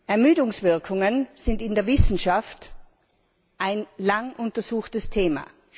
Ermüdungswirkungen sind in der Wissenschaft ein lang untersuchtes Thema.